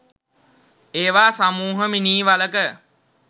ඒවා සමූහ මිනී වළක